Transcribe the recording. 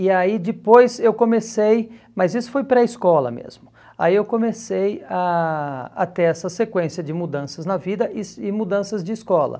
E aí depois eu comecei, mas isso foi pré-escola mesmo, aí eu comecei a a ter essa sequência de mudanças na vida e e mudanças de escola.